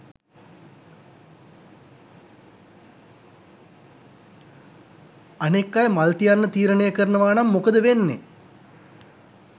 අනෙක් අය මල් තියන්න තීරණය කරනවානම් මොකද වෙන්නේ?